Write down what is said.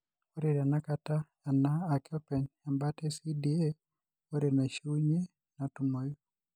Ore tenakata ena ake openy ebaata e CDA are naishiunyie natumoyu.